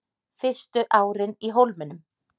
Fyrstu árin í Hólminum